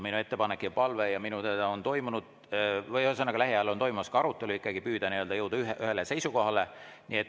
Minu ettepanek ja palve, minu teada on lähiajal toimumas arutelu, on ikkagi püüda jõuda ühisele seisukohale.